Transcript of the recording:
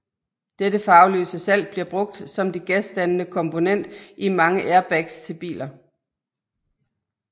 Dette farveløse salt bliver brugt som det gasdannende komponent i mange airbags til biler